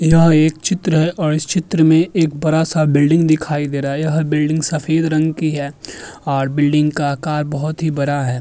यह एक चित्र है और इस चित्र में एक बड़ा-सा बिल्डिंग दिखाई दे रहा है। यह बिल्डिंग सफेद रंग की है और बिल्डिंग का आकार बोहोत ही बरा है।